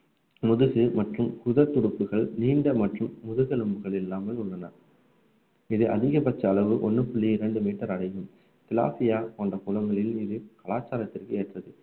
முதுகு மற்றும் உடல் துடுப்புகள் நீண்ட மற்றும் முதுகெலும்புகள் இல்லாமல் உள்ளன இது அதிகபட்ச அளவு ஒண்ணு புள்ளி இரண்டு மீட்டர் அடையும் போன்ற குளங்களில் இது கலாச்சாரத்திற்கு ஏற்றது